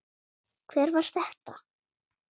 Hver var þetta?